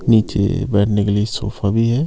नीचे बैठने के लिए सोफा भी है।